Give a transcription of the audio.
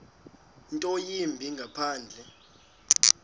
nto yimbi ngaphandle